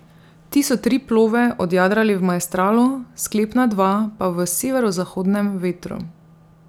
Ti so tri plove odjadrali v maestralu, sklepna dva pa v severozahodnem vetru.